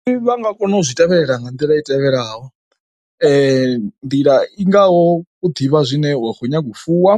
Ndi vha nga kona u zwi tevhelela nga nḓila i tevhelaho nḓila i ngaho u ḓivha zwine wa kho nyaga u fuwa